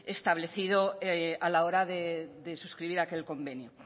establecido a la hora de suscribir aquel convenio